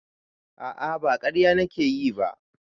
A'a ba ƙarya nake yi ba